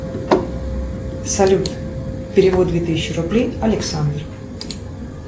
салют перевод две тысячи рублей александр